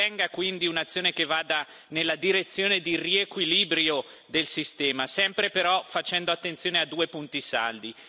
Ben venga, quindi, un'azione che vada nella direzione di un riequilibrio del sistema, sempre però facendo attenzione a due punti saldi.